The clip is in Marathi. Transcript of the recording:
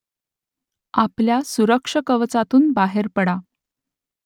आपल्या सुरक्षकवचातून बाहेर पडा